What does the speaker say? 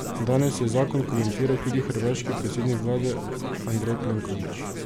Danes je zakon komentiral tudi hrvaški predsednik vlade Andrej Plenković.